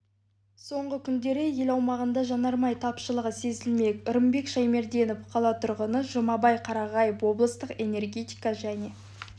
соңғы күндері ел аумағында жанармай тапшылығы сезілді рымбек шаймерденов қала тұрғыны жұмабай қарағаев облыстық энергетика және